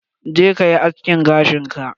Je kayi aske gashin ka!